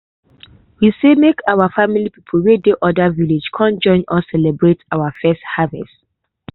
we say make our family people wey dey anoda village come join us celebrate our first harvest.